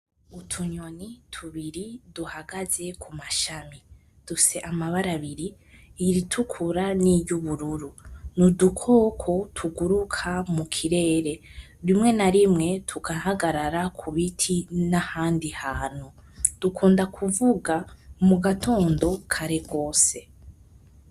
Utunyoni tubiri duhagaze kumashami, dufise amabara abiri:iritukura n'iryubururu. Ni udukoko tuguruka mukirere. Rimwe na rimwe tugahagarara ku biti nahandi hantu. Dukunda kuvuga mugatondo kare gose.